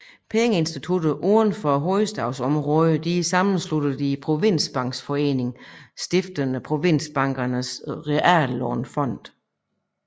Pengeinstitutter uden for hovedstadsområdet sammensluttet i Provinsbankforeningen stiftede Provinsbankernes Reallånefond